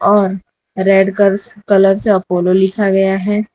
और रेड कर्स कलर से अपोलो लिखा गया है।